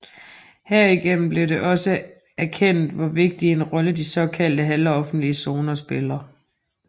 Herigennem blev det også erkendt hvor vigtig en rolle de såkaldte halvoffentlige zoner spiller